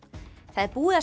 það er búið að